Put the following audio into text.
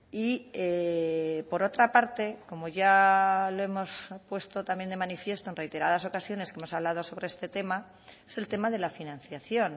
y por otra parte como ya lo hemos puesto también de manifiesto en reiteradas ocasiones que hemos hablado sobre este tema es el tema de la financiación